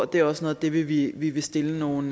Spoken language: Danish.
det er også noget af det vi vi vil stille nogle